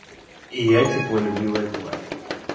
и я теплолюбивая тварь